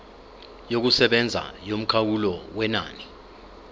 yokusebenza yomkhawulo wenani